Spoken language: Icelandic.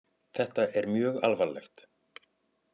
Þetta er mjög alvarlegt.